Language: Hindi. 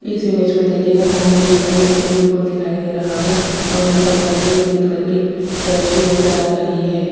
इस इमेज में देखिएगा सामने यहां पर एक स्विमिंग पूल दिखाई दे रहा है और यहां पर साइड में एक ग्रीन कलर की बेंच भी नजर आ रही है।